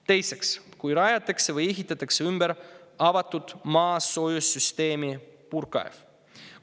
Teiseks, kui rajatakse või ehitatakse ümber avatud maasoojussüsteemi puurkaev.